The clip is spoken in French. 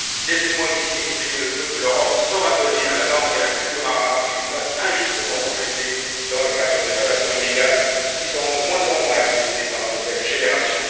Laissez moi ici exprimer le vœu que l'Europe saura donner à la langue et la culture arabes une place injustement refusée dans le cadre des relations inégales qui seront de moins en moins acceptées par nos nouvelles générations.